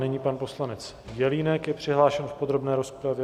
Nyní pan poslanec Jelínek je přihlášen v podrobné rozpravě.